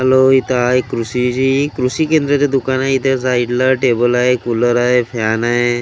Hello इथं हाय कृषी जी कृषी केंद्राचं दुकान आहे इथे साईडला टेबल हाय कुलर हाय हाय .